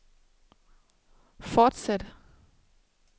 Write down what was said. fortsæt